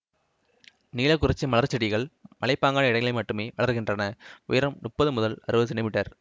நீலக்குறிச்சி மலர்ச்செடிகள் மலைப்பாங்கான இடங்களில் மட்டுமே வளர்கின்றன உயரம் முப்பது முதல் அறுபது செமீ